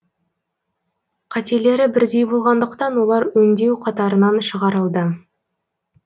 қателері бірдей болғандықтан олар өңдеу қатарынан шығарылды